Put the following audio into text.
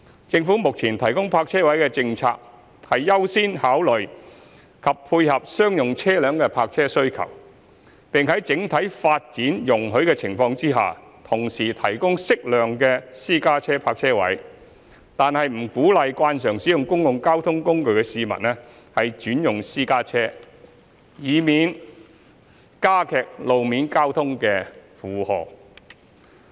政府目前提供泊車位的政策，是優先考慮及配合商用車輛的泊車需求，並在整體發展容許的情況下同時提供適量的私家車泊車位，但不鼓勵慣常使用公共交通工具的市民轉用私家車，以免增加路面交通的負荷。